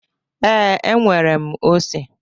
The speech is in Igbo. Ee, e nwere m ose.